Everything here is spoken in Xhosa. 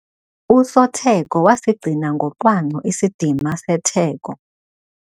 Usotheko wasigcina ngocwangco isidima setheko.